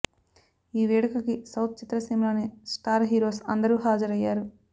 ఈ వేడుకకి సౌత్ చిత్ర సీమలోని స్టార్ హీరోస్ అందరూ హాజరయ్యారు